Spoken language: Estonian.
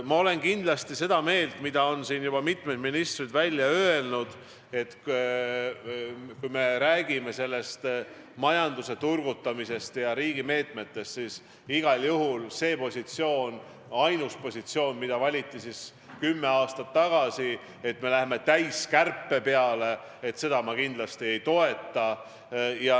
Ma olen kindlasti seda meelt, mida on siin juba mitu ministrit välja öelnud: kui me räägime majanduse turgutamisest ja riigi meetmetest, siis seda ainsat positsiooni, mis valiti kümme aastat tagasi, et me lähme täiskärpe peale, ma kindlasti ei toeta.